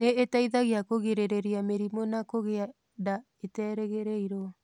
Nĩ ĩteithagia kũgirĩrĩria mĩrimũ na kũgĩa nda iterĩgĩrĩirũo.